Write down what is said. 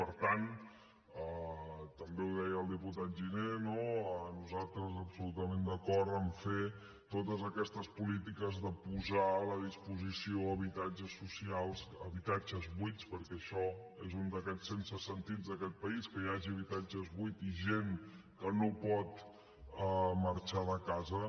per tant també ho deia el diputat giner no nosaltres absolutament d’acord a fer totes aquestes polítiques de posar a la disposició habitatges socials habitatges buits perquè això és un d’aquests absurds d’aquest país que hi hagi habitatges buits i gent que no pot marxar de casa